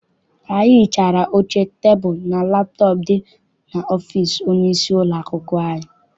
Anyị hichara oche, tebulu and laptọp dị n'ọfịịsi onye isi ụlọakwụkwọ anyị.